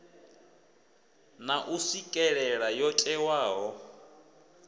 na u swikelela yo ewaho